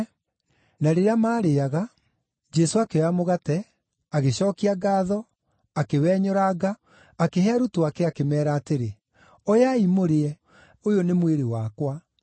Na rĩrĩa maarĩĩaga, Jesũ akĩoya mũgate, agĩcookia ngaatho, akĩwenyũranga, akĩhe arutwo ake, akĩmeera atĩrĩ, “Oyai mũrĩe; ũyũ nĩ mwĩrĩ wakwa.”